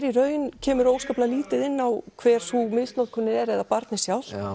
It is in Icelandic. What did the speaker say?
í raun kemur lítið inn á hver sú misnotkun er eða barnið sjálft